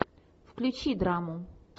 включи драму